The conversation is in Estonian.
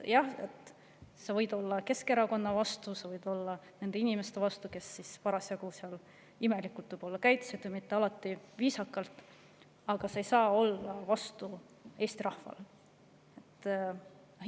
Jah, sa võid olla Keskerakonna vastu, sa võid olla nende inimeste vastu, kes käitusid parasjagu imelikult, mitte alati viisakalt, aga sa ei saa olla Eesti rahva vastu.